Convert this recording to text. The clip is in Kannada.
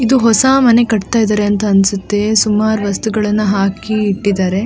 ಇದು ಹೊಸ ಮನೆ ಕಟ್ತಾ ಇದ್ದಾರೆ ಅನ್ಸುತ್ತೆ ಸುಮಾರು ವಸ್ತುಗಳನ್ನು ಹಾಕಿ ಇಟ್ಟಿದಾರೆ.